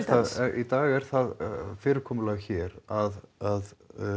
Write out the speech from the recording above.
í dag er það fyrirkomulag hér að